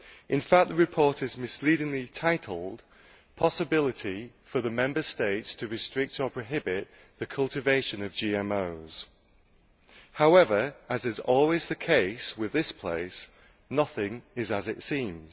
In fact the report is misleadingly entitled Possibility for the Member States to restrict or prohibit the cultivation of GMOs'. However, as is always the case with this place, nothing is as it seems.